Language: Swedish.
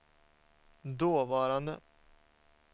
dåvarande